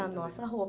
A nossa roupa.